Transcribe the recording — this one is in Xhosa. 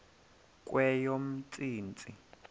kweyomntsintsi